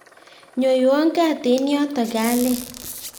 nyoiwa kaat eng yoto kalel